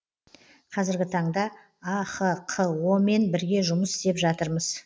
қазіргі таңда ахқо мен бірге жұмыс істеп жатырмыз